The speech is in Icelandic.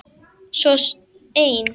Svo ein.